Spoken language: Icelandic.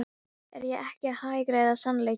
Er ég ekki að hagræða sannleikanum?